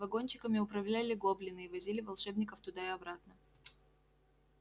вагончиками управляли гоблины и возили волшебников туда и обратно